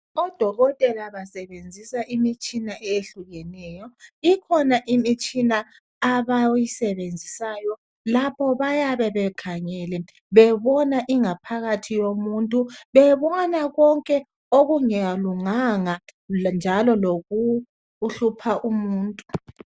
Odokotela basebenzisa imitshina eyehlukeneyo. Ikhona imitshina abayisebenzisayo lapho bayabe bekhangele bebona ingaphakathi yomuntu. Bebona konke okungalunganga njalo lokuhlupha umuntu.